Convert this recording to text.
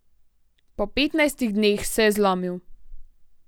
Po petnajstih dneh se je zlomil.